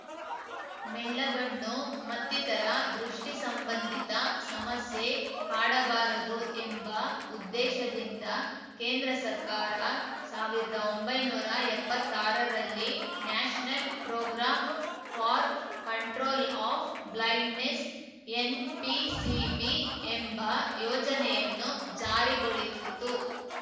ಮೆಳ್ಳಗಣ್ಣು ಮತ್ತಿತರ ದೃಷ್ಟಿಸಂಬಂಧಿತ ಸಮಸ್ಯೆ ಕಾಡಬಾರದು ಎಂಬ ಉದ್ದೇಶದಿಂದ ಕೇಂದ್ರ ಸರ್ಕಾರ ಸಾವಿರದೊಂಬೈನೂರಾ ಎಪ್ಪತ್ತಾರರಲ್ಲಿ national programme for control of blindness NPCB ಎಂಬ ಯೋಜನೆಯನ್ನು ಜಾರಿಗೊಳಿಸಿತು